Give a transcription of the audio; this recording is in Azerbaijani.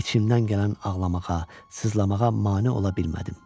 İçimdən gələn ağlamağa, sızlamağa mane ola bilmədim.